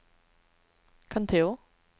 kontor